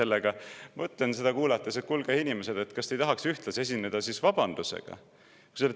Ma mõtlen seda kuulates, et kuulge, inimesed, kas te ei tahaks siis ühtlasi esineda vabandusega.